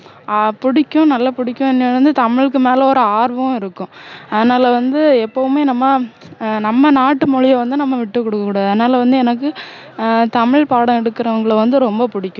ஆஹ் புடிக்கும் நல்லா புடிக்கும் தமிழுக்கு மேல ஒரு ஆர்வம் இருக்கும் அதனால வந்து எப்போவுமே நம்ம ஆஹ் நம்ம நாட்டு மொழிய வந்து நம்ம விட்டுக்கொடுக்க கூடாது அதனால வந்து எனக்கு ஆஹ் தமிழ் பாடம் எடுக்குறவங்களை வந்து ரொம்ப புடிக்கும்